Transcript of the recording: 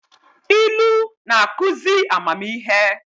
Ilu na-akụzị amamihe